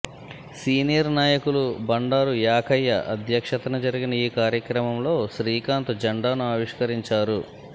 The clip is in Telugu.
సీనియర్ నాయకులు బండారు యాకయ్య అధ్యక్షతన జరిగిన ఈ కార్యక్రమంలో శ్రీకాంత్ జెండాను ఆవిష్కరించారు